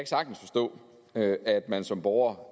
sagtens forstå at at man som borger